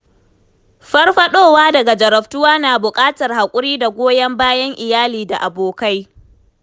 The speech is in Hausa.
Farfaɗowa daga jarabtuwa na buƙatar haƙuri da goyon bayan iyali da abokai.